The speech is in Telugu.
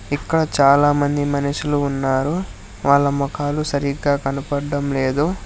ఇంకా చాలా మంది మనుషులు ఉన్నారు వాళ్ళ మొఖాలు సరిగ్గా కనపడం లేదు.